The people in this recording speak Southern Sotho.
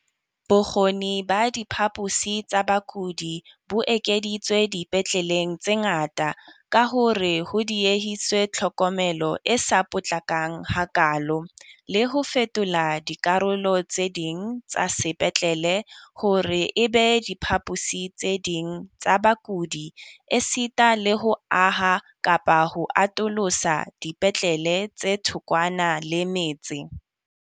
Bokgoni ba diphaposi tsa bakudi bo ekeditswe dipetleleng tse ngata ka hore ho diehiswe tlhokomelo e sa potlakang hakaalo. Le ho fetola dikarolo tse ding tsa sepetlele hore e be diphaposi tse ding tsa bakudi esita le ho aha kapa ho atolosa dipetlele tse thokwana le metse.